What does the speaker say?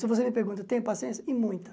Se você me pergunta tenho paciência, e muita.